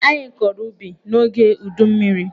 Anyị kọrọ ubi n'oge udummiri.